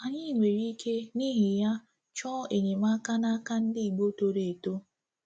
Anyị nwere ike, n’ihi ya, ịchọ enyemaka n’aka ndị Igbo toro eto.